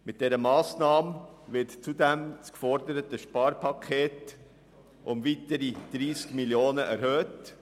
Mit dieser Massnahme wird zudem das geforderte Sparpaket um weitere 30 Mio. Franken erhöht.